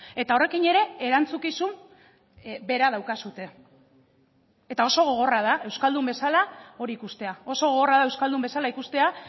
eta horrekin ere erantzukizun bera daukazue eta oso gogorra da euskaldun bezala hori ikustea oso gogorra da euskaldun bezala ikustea